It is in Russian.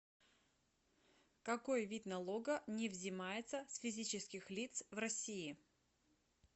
какой вид налога не взимается с физических лиц в россии